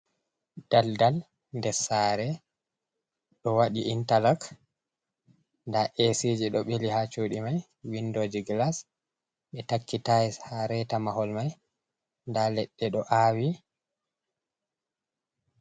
Dal-dal nder sare ɗo waɗi intalog, nda esiji ɗo ɓili ha chuɗi mai. Windoji glas. Ɓe ɗo takki tayels ha reta mahol mai nda leɗɗe ɗo awi.